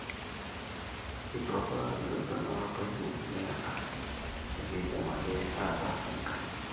eitu apa ilotu enapa appointment niyata, ekidim ake ataas enkae?